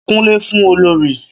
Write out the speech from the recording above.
Kúnlẹ̀ fún olorì